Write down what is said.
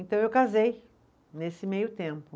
Então eu casei nesse meio tempo.